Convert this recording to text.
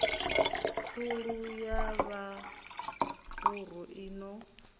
khulu ya mavhuru i no